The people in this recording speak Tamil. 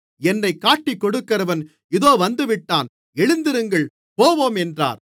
என்னைக் காட்டிக்கொடுக்கிறவன் இதோ வந்துவிட்டான் எழுந்திருங்கள் போவோம் என்றார்